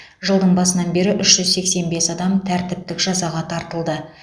жылдың басынан бері үш жүз сексен бес адам тәртіптік жазаға тартылды